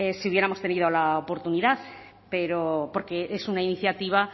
si hubiéramos tenido la oportunidad pero porque es una iniciativa